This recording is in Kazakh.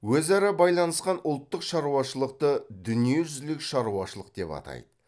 өзара байланысқан ұлттық шаруашылықты дүниежүзілік шаруашылық деп атайды